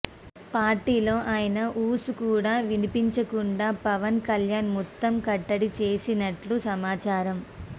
పార్టీలో ఆయన ఊసు కూడా వినపడకుండా పవన్ కల్యాణ్ మొత్తం కట్టడి చేసేసినట్లు సమాచారం